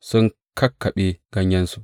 sun kakkaɓe ganyayensu.